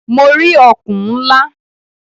Mo rí ọ̀kùn ńlá.